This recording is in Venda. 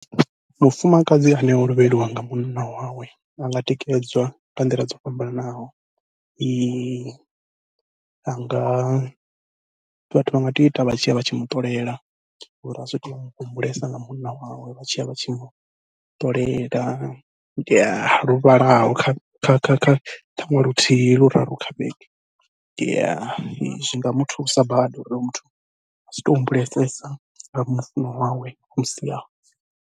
Mufumakadzi ane o lovheliwa nga munna wawe a nga tikedzwa nga nḓila dzo fhambananaho, anga vhathu vha nga tea u ita vha tshiya vha tshi muṱolela ngori a sa ṱwe atshi humbulesa nga munna wawe vha tshiya vha tshi muṱolela lu vhalaho kha kha kha kha ṱhaṅwe luthihi luraru kha vhege, zwi nga muthusa badi uri muthu a si to humbulesesa nga mufuṅwa wawe o musiaho.